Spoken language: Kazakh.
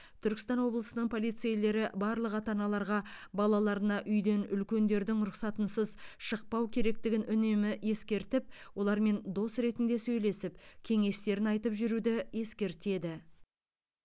түркістан облысының полицейлері барлық ата аналарға балаларына үйден үлкендердің рұқсатынсыз шықпау керектігін үнемі ескертіп олармен дос ретінде сөйлесіп кеңестерін айтып жүруді ескертеді